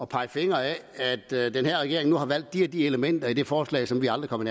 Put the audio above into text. pege fingre ad at den her regering har valgt de og de elementer i et forslag som vi aldrig kom